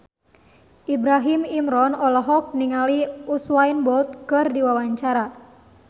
Ibrahim Imran olohok ningali Usain Bolt keur diwawancara